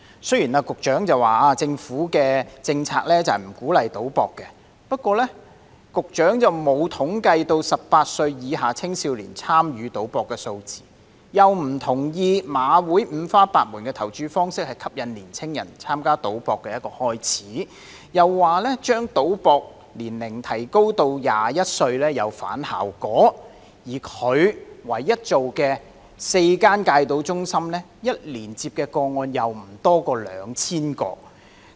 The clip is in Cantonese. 雖然局長說政府的政策不鼓勵賭博，但局長並無統計18歲以下青少年參與賭博的數字，亦不同意馬會五花八門的投注方式吸引年青人開始參加賭博，又說將賭博年齡提高到21歲會有反效果，而他唯一做到的4間戒賭中心，一年接收的個案卻不多於2000宗。